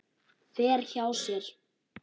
Fer hjá sér.